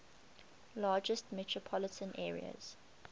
largest metropolitan areas